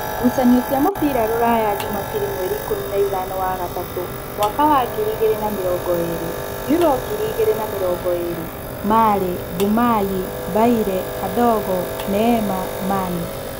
Ngucanio cia mũbira Ruraya Jumabiri mweri ikũmi na ĩthano wa gatatũ mwaka wa ngiri igĩrĩ na namĩrongoĩrĩ: Yuro ngiri igĩrĩ na mĩrongoĩrĩ, Marĩ, Mbumayĩ, Mbaire, Kandogo, Neema, Mani